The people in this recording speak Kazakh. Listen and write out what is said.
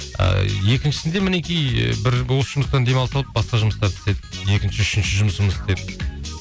ыыы екіншісінде мінекей бір осы жұмыстан демалыс алып басқа жұмыстар істеп екінші үшінші жұмысымызды істеп